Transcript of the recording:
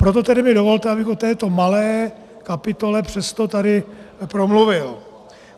Proto tedy mi dovolte, abych o této malé kapitole přesto tady promluvil.